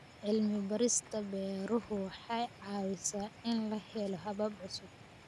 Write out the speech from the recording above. Cilmi-baarista beeruhu waxay caawisaa in la helo habab cusub.